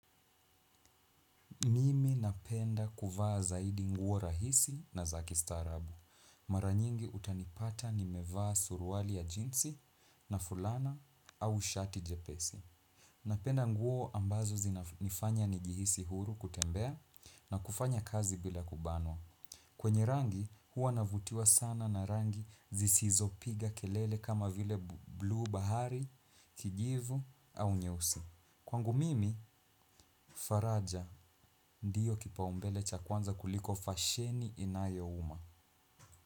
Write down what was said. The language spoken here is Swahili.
Mimi napenda kuvaa zaidi nguo rahisi na za kistaarabu. Mara nyingi utanipata nimevaa suruali ya jinsi na fulana au shati jepesi. Napenda nguo ambazo zinafanya nijihisi huru kutembea na kufanya kazi bila kubanwa. Kwenye rangi huwa navutiwa sana na rangi zisizopiga kelele kama vile blue bahari, kijivu au nyeusi. Kwangu mimi, Faraja ndiyo kipaumbele cha kwanza kuliko fasheni inayouma.